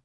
(5:6)